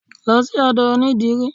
Lọ sí odò onidírì!